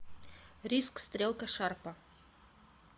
риск стрелка шарпа